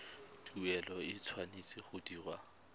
tuelo e tshwanetse go dirwa